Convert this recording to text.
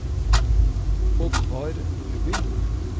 Oddvar Nordby